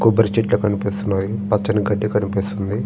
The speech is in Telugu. కొబ్బరి చెట్లు కనిపిస్తున్నాయి పచ్చని గడ్డి కనిపిస్తుంది.